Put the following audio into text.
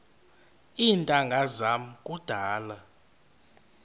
iintanga zam kudala